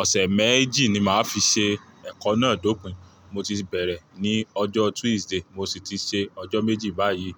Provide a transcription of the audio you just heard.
Ọ̀sẹ̀ méjì ni màá fi ṣe ẹ̀kọ́ náà dópìn. Mo ti bẹ̀rẹ̀ ní ọjọ́ Tuesday, mo sì ti ṣe ọjọ́ méjì báyìí.